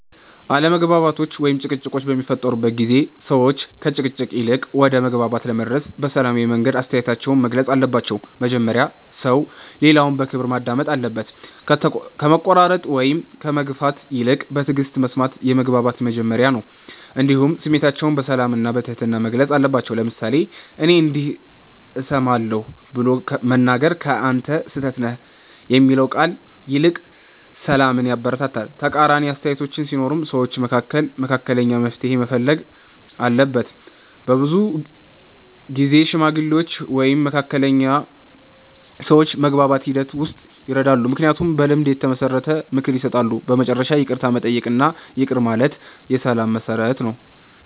አለመግባባቶች ወይም ጭቅጭቆች በሚፈጠሩበት ጊዜ ሰዎች ከግጭት ይልቅ ወደ መግባባት ለመድረስ በሰላማዊ መንገድ አስተያየታቸውን መግለጽ አለባቸው። መጀመሪያ ሰው ሌላውን በክብር ማዳመጥ አለበት፣ ከመቆራረጥ ወይም ከመግፋት ይልቅ በትዕግስት መስማት የመግባባት መጀመሪያ ነው። እንዲሁም ስሜታቸውን በሰላም እና በትህትና መግለጽ አለባቸው፤ ለምሳሌ “እኔ እንዲህ እሰማለሁ” ብሎ መናገር ከ“አንተ ስህተት ነህ” የሚለው ቃል ይልቅ ሰላምን ያበረታታል። ተቃራኒ አስተያየቶች ሲኖሩም ሰዎች መካከል መካከለኛ መፍትሔ መፈለግ አለበት። በብዙ ጊዜ ሽማግሌዎች ወይም መካከለኛ ሰዎች በመግባባት ሂደት ውስጥ ይረዳሉ፣ ምክንያቱም በልምድ የተመሰረተ ምክር ይሰጣሉ። በመጨረሻ ይቅርታ መጠየቅ እና ይቅር ማለት የሰላም መሠረት ነው።